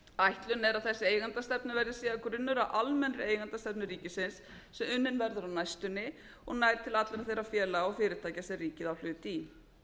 ætlunin er að þessi eigendaskipti verði síðan grunnur að almennri eigendastefnu ríkisins sem verður á næstunni og nær til allra þeirra félaga og fyrirtækja sem ríkið á hlut í